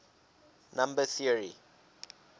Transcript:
number theory